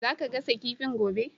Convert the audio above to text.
Za ka gasa kifin gobe?